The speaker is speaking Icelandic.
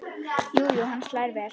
Jú jú, hún slær vel!